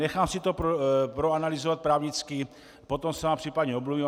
Nechám si to proanalyzovat právnicky, potom se vám případně omluvím.